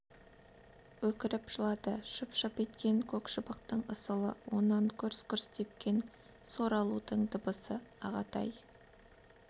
өкіріп жылады шып-шып еткен көк шыбықтың ысылы онан гүрс-гүрс тепкен сор алудың дыбысы ағатай-ай